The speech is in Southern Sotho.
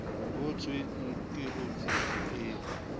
ho thweng ke hotsitsi eo